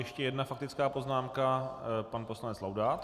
Ještě jedna faktická poznámka, pan poslanec Laudát.